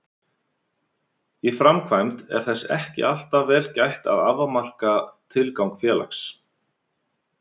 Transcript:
Í framkvæmd er þess ekki alltaf vel gætt að afmarka tilgang félags.